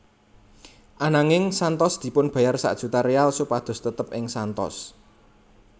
Ananging Santos dipunbayar sak juta real supados tetep ing Santos